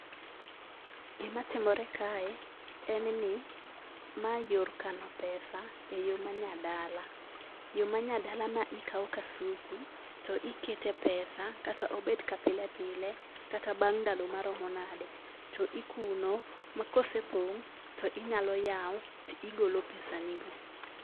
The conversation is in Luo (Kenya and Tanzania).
Gimatimore kae en ni ma yor kano pesa eyo ma nyadala. Yo manyadala ma ikawo kasuku to ikete pesa , kata obed ka pile pile kata bang' ndalo maromo nadi. To ikuno ma kosepong' tinyalo yawo, to igolo pesanigo.